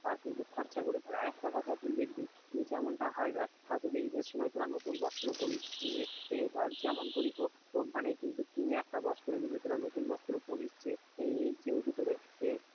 খরচা করে ফেলে, আরেকটা কথা কি দেখবি যেমনটা হয় তোদের ঈদের সময় তোরা নতুন বস্ত্র পড়িস নিয়ে যেমন করেই হোক কিনে একটা বস্ত্র কিন্তু নতুন বস্ত্র পড়িস।